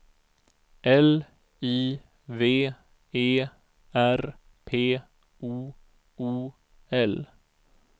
L I V E R P O O L